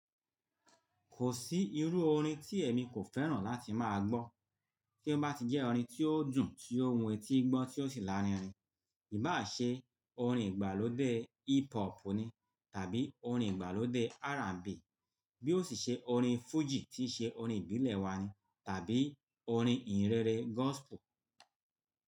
Kò sí irú orin tí èmi kò fẹ́ràn láti máa gbọ́ tí ó bá ti jẹ́ orin tí ó dùn, tí ó wu etí gbọ́, tí ó sì lárinrin. Íbà ṣe orin ìgbàlódé hip hop ni tàbí orin ìgbàlódé R&B bí ó sì ṣe orin fújì tí í ṣe orin ìbílẹ̀ wa ni tàbí orin ìhìnrere gospel.